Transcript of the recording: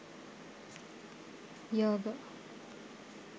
yoga